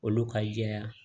Olu ka jɛya